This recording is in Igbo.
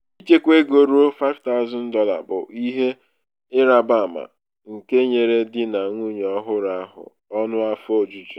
ichekwa ego ruo $5000 bụ ihe ịrabaama nke nyere um di na nwunye ọhụrụ ahụ ọṅụ afọ um ojuju.